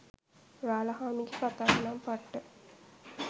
රාළහාමිගෙ කතාව නම් පට්ට.